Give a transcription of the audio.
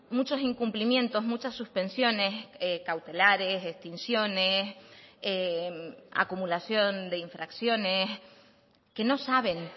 muchos incumplimientos muchas suspensiones cautelares extinciones acumulación de infracciones que no saben